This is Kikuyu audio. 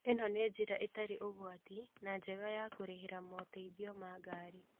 ĩno nĩ njĩra ĩtarĩ ũgwati na njega ya kũrĩhĩra mooteithio ma ngari.